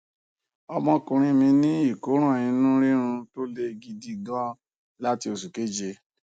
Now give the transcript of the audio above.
ọmọkùnrin mí ní ìkóràn inú rírun tó le gidi gan láti oṣù keje